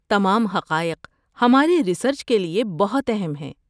تمام حقائق ہماری ریسرچ کے لیے بہت اہم ہیں۔